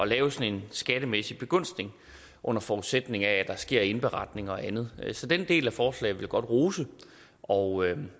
lave sådan en skattemæssig begunstigelse under forudsætning af at der sker indberetning og andet så den del af forslaget vil jeg godt rose og